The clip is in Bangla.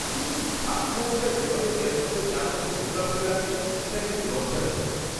কিছু কিছু ছাত্রছাত্রীরা যেভাবে ক্যাম্পাসের চারপাশে নোংরা ফেলে রাখে সেটা কিন্তু লজ্জাজনক!